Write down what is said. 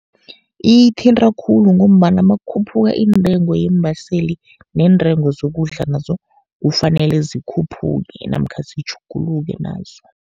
Iyithinta khulu, ngombana nakukhuphuka intengo yeembaseli, neentengo zokudla nazo kufanele zikhuphuke namkha zitjhuguluke nazo.